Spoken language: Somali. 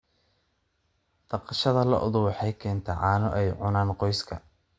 Dhaqashada lo'du waxay keentaa caano ay cunaan qoyska.